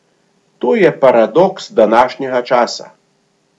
To je paradoks današnjega časa!